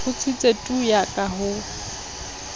kgutsitse tu yaka ha ho